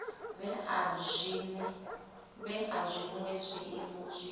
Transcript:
vhea zwinwe zwiiimo zwi tshi